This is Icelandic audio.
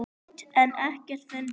hildi en ekkert fundið.